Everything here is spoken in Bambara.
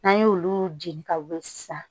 N'an y'olu jeni ka wili sisan